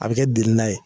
A bɛ kɛ delana ye